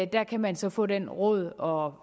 der kan man så få de råd og